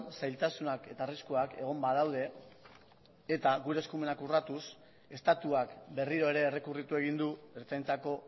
zailtasunak eta arriskuak egon badaude eta gure eskumenak urratuz estatuak berriro ere errekurritu egin du ertzaintzako